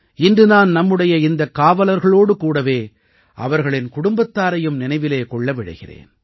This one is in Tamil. இன்று நான் நம்முடைய இந்தக் காவலர்களோடு கூடவே அவர்களின் குடும்பத்தாரையும் நினைவிலே கொள்ள விழைகிறேன்